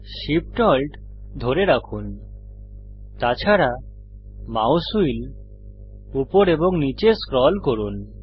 Shift Alt ধরে রাখুন তাছাড়া মাউস হুইল উপর এবং নীচে স্ক্রল করুন